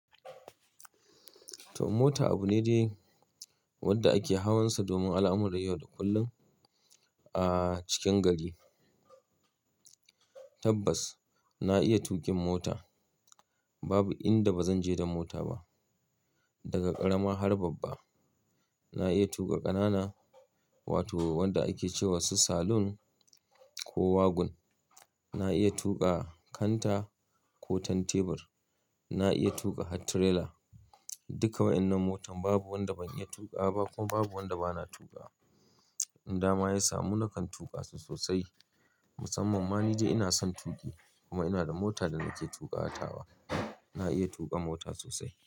To mota abu ne de wanda ake hawan sa domin al'amurran yau da kullum a cikin gari. Tabbas na iya tuƙin mota. Babu inda bazan je da mota ba, daga ƙarama har babba. Na iya tuƙa ƙanana, wato wanda ake ce wa su saloon ko wagon. Na iya tuƙa kanta ko tanteber. Na iya tuƙa hat tirela. Duka wa'inan motan babu wanda ban iya tuƙa ba ko babu wanda bana tuƙa. Inn dama ya samu na kan tuƙa su sosai. Musammam ma ni de ina sun tuƙi, kuma ina da mota da nake tuƙawa tawa. Na iya tuƙa mota sosai.